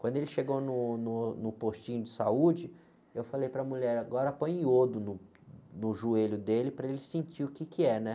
Quando ele chegou no, no, no postinho de saúde, eu falei para mulher, agora põe iodo no, no joelho dele para ele sentir o que que é, né?